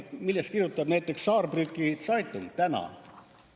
Millest kirjutab näiteks Saarbrücker Zeitung täna?